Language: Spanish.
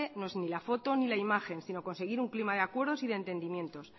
no es ni la foto ni la imagen sino conseguir un clima de acuerdos y de entendimientos